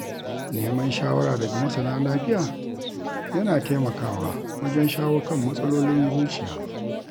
Neman shawara daga masana lafiya yana taimakawa, wajen shawo kan matsalolin zuciya.